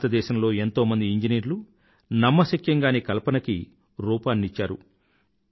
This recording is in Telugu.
భారతదేశంలో ఎంతో మంది ఇంజనీర్లు నమ్మశక్యం గాని కల్పనలకి రూపాన్ని ఇచ్చారు